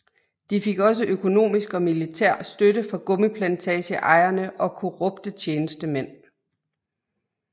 De fik også økonomisk og militær støtte fra gummiplantageejere og korrupte tjenestemænd